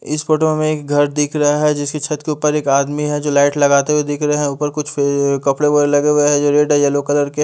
इस फोटो में हमे एक घर दिख रहा है जिसके छत के ऊपर एक आदमी है जो लाईट लगाते हुए दिख रहा है ऊपर कुछ अ कपडे वगैरे लगे हुए है जो रेड येल्लो कलर के --